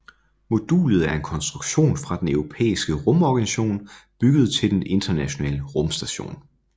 Modulet er en konstruktion fra den Den Europæiske Rumorganisation bygget til Den Internationale Rumstation